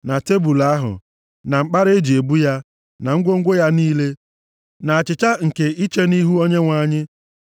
na tebul ahụ, na mkpara e ji ebu ya, na ngwongwo ya niile, na achịcha nke iche nʼIhu Onyenwe anyị.